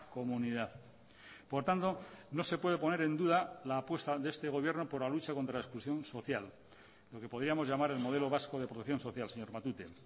comunidad por tanto no se puede poner en duda la apuesta de este gobierno por la lucha contra la exclusión social lo que podríamos llamar el modelo vasco de producción social señor matute